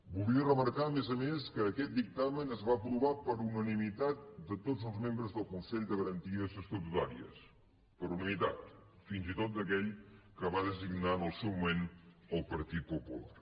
voldria remarcar a més a més que aquest dictamen es va aprovar per unanimitat de tots els membres del consell de garanties estatutàries per unanimitat fins i tot d’aquell que va designar en el seu moment el partit popular